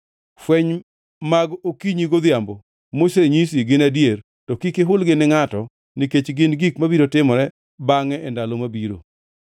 “Fweny mag okinyi godhiambo mosenyisi gin adier, to kik ihulgi ni ngʼato nikech gin gik mabiro timore bangʼe e ndalo mabiro.”